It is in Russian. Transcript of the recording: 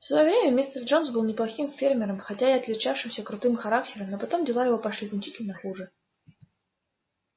в своё время мистер джонс был неплохим фермером хотя и отличавшимся крутым характером но потом дела его пошли значительно хуже